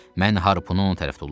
Mən harpunu onun tərəfə tulladım.